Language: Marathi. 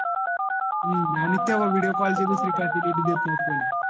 हम्म आणि तेव्हा विडिओ कॉल ची दुसरी फॅसिलिटी देत नव्हतं तेव्हा कोणी